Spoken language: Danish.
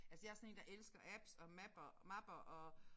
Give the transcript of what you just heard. Altså jeg sådan én der elsker apps og map og mapper og